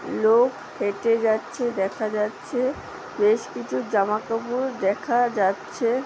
লোক হেটে যাচ্ছে দেখা যাচ্ছে বেশ কিছু জামাকাপড় দেখা যাচ্ছে --